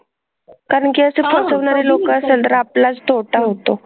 कारण की असं फसवणारे लोकं असेल तर आपलाच तोटा होतो.